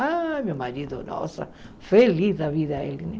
Ah, meu marido, nossa, feliz da vida ele, né?